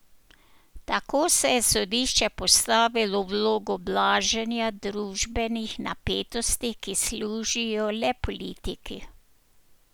Tako se je sodišče postavilo v vlogo blaženja družbenih napetosti, ki služijo le politiki.